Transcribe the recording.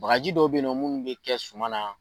Bagarji dɔw bɛ yen nɔ minnu bɛ kɛ suma na.